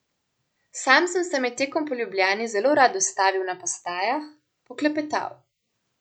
Sam sem se med tekom po Ljubljani zelo rad ustavil na postajah, poklepetal.